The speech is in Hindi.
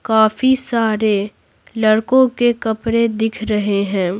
काफी सारे लड़कों के कपड़े दिख रहे है।